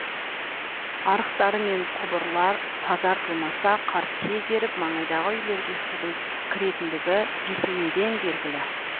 арықтар мен құбырлар тазартылмаса қар тез еріп маңайдағы үйлерге судың кіретіндігі бесенеден белгілі